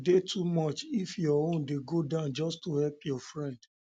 e de too much if much if your own de go down just to help your friend